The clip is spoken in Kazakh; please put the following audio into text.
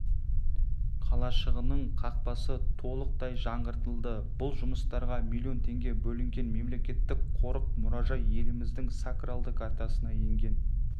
қалашығының қақпасы толықтай жаңғыртылды бұл жұмыстарға миллион теңге бөлінген мемлекеттік қорық-мұражай еліміздің сакралды картасына енген